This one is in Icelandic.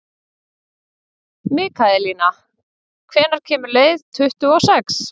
Mikaelína, hvenær kemur leið númer tuttugu og sex?